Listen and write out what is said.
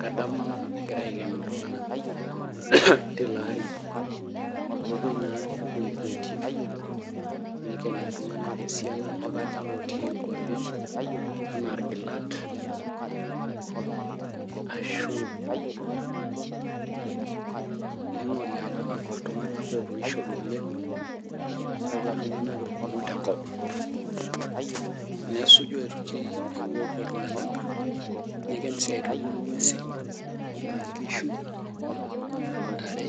Kadamu egirae aiken iltunganak tiloari nepuoi naa nepuoi iwuetin nikeni iltunganak esiana ajo kaja lotii nkwapi anaa irgilat ashu ningori ajo kakwa tunganak otoishote oleng , kakwa tunganak irkumok tenkop . Nesuju aitoki epuopuo iltunganak niken sii aitoki ngwesin aa nkishu, ntare ,